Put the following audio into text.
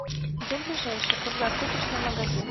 где ближайший круглосуточный магазин